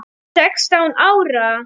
Sextán ára?